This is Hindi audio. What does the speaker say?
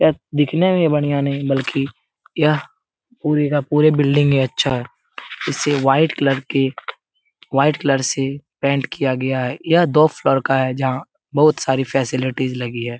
यह दिखने में ही बढ़ियाँ नहीं बल्कि यह पुरे का पुरे बिल्डिंग ही अच्छा है इस वाइट कलर से पेंट किया गया है यह दो फ्लोर का है जहा बहुत सारी फैसिलिटी लगी हैं ।